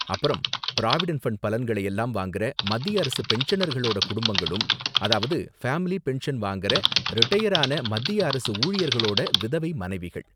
அப்பறம் provident fund பலன்களையெல்லாம் வாங்குற மத்திய அரசு பென்ஷனர்களோட குடும்பங்களும் அதாவது ஃபேமிலி பென்ஷன் வாங்கற ரிடயர் ஆன மத்திய அரசு ஊழியர்களோட விதவை மனைவிகள்.